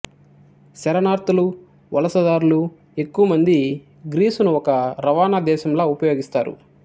శరణార్థులు వలసదారులు ఎక్కువ మంది గ్రీసును ఒక రవాణా దేశంలా ఉపయోగిస్తారు